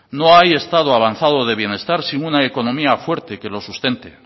no hay estado avanzado de bienestar sin una economía fuerte que lo sustente